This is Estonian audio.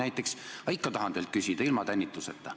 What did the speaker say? Aga ma tahan teilt küsida ilma tänituseta.